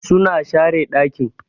suna share dakin.